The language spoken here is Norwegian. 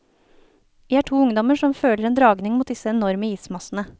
Vi er to ungdommer som føler en dragning mot disse enorme ismassene.